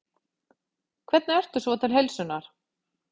Hvernig ertu svo til heilsunnar?